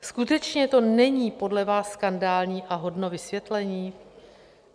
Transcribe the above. Skutečně to není podle vás skandální a hodno vysvětlení?